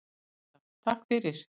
Agla: Takk fyrir.